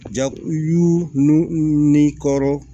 Ja y'u nu ni kɔrɔ